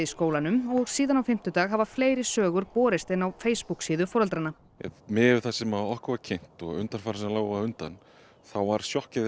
skólanum og síðan á fimmtudag hafa fleiri sögur borist inn á Facebook síðu foreldranna miðað við það sem okkur var kynnt á undan á undan þá var sjokkið